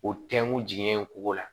O tɛnkun ye kungo la